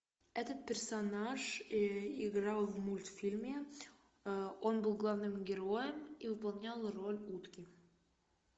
этот персонаж играл в мультфильме он был главным героем и выполнял роль утки